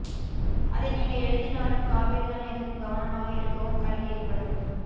அதை நீங்கள் எழுதினாலும் காபீர்தான் எதுக்கும் கவனமாக இருக்கவும் கல் எறிபடும்